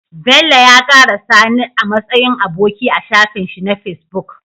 Bello ya kara sani a matsayin aboki a shafin shi na facebook